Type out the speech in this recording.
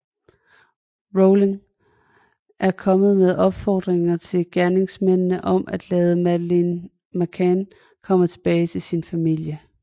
Rowling er kommet med opfordringer til gerningsmændene om at lade Madeleine McCann komme tilbage til sin familie